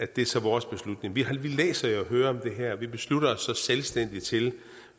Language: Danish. det er så vores beslutning vi læser og hører jo om det her og vi beslutter os så selvstændigt til